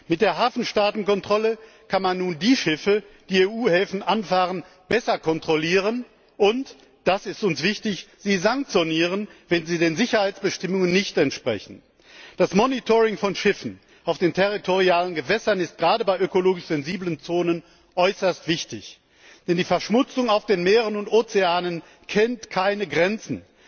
Mit der Hafenstaatkontrolle kann man nun die Schiffe, die EU Häfen anfahren, besser kontrollieren und das ist uns wichtig Sanktionen verhängen, wenn sie den Sicherheitsbestimmungen nicht entsprechen. Die Überwachung von Schiffen auf den Hoheitsgewässern ist gerade bei ökologisch sensiblen Zonen äußerst wichtig, denn die Verschmutzung der Meere und Ozeane kennt keine Grenzen.